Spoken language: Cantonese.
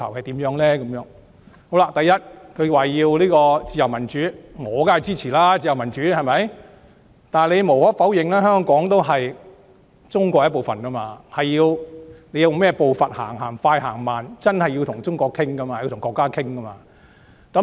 第一，他們要自由民主，我當然支持，但無可否認，香港是中國的一部分，我們用甚麼步伐走，是快是慢，真的要與中國商討。